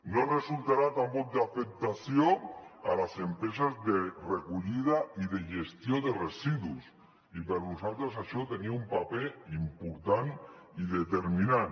no resultarà tampoc d’afectació per a les empreses de recollida i de gestió de residus i per a nosaltres això tenia un paper important i determinant